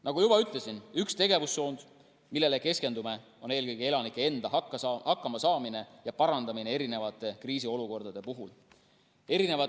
Nagu juba ütlesin, üks tegevussuundi, millele keskendume, on eelkõige elanike enda hakkamasaamine ja selle parandamine erinevate kriisiolukordade puhul.